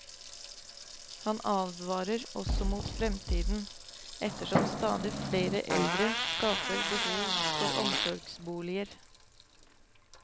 Han advarer også mot fremtiden, ettersom stadig flere eldre skaper behov for omsorgsboliger.